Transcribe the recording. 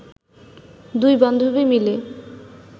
দুই বান্ধবী মিলে